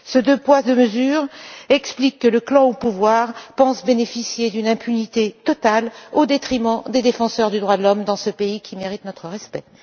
Ces deux poids, deux mesures expliquent que le clan au pouvoir pense bénéficier d'une impunité totale au détriment des défenseurs des droits de l'homme dans ce pays qui mérite notre respect.